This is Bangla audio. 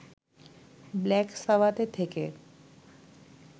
ব্ল্যাক সাবাথে থেকে